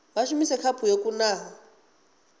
vha shumise khaphu yo kunaho